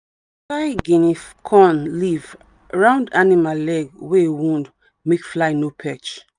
we dey tie guinea corn leaf round animal leg wey wound make fly no perch.